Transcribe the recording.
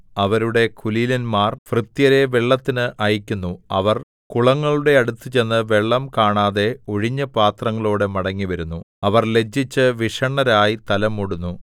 അവരുടെ കുലീനന്മാർ ഭൃത്യരെ വെള്ളത്തിന് അയയ്ക്കുന്നു അവർ കുളങ്ങളുടെ അടുത്തുചെന്ന് വെള്ളം കാണാതെ ഒഴിഞ്ഞപാത്രങ്ങളോടെ മടങ്ങിവരുന്നു അവർ ലജ്ജിച്ച് വിഷണ്ണരായി തല മൂടുന്നു